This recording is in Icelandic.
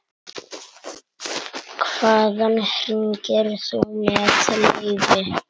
Hvaðan hringir þú með leyfi?